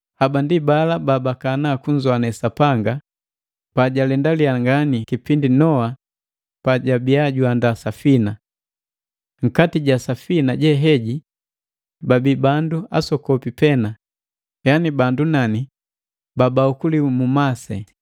Haba ndi bala babakana kunzoane Sapanga pajalendaliya ngani kipindi Noa pajabiya juandaa safina. Nkati ja safina je heji babi bandu asokopi pena, yani bandu nani, babaokuliwa mu masi,